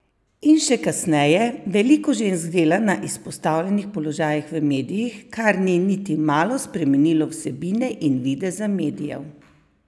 In še kasneje: "Veliko žensk dela na izpostavljenih položajih v medijih, kar ni niti malo spremenilo vsebine in videza medijev.